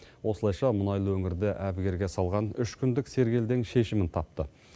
осылайша мұнайлы өңірді әбігерге салған үш күндік сергелдең шешімін тапты